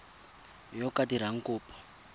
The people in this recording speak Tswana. yo o ka dirang kopo